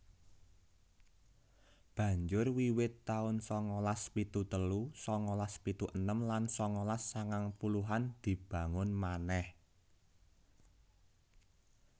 Banjur wiwit taun sangalas pitu telu sangalas pitu enem lan sangalas sangang puluhan dibangun manèh